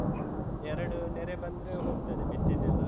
ಎರಡು ನೆರೆ ಬಂದ್ರೆ ಹೋಗ್ತದೆ ಬಿತ್ತಿದ್ದೆಲ್ಲ.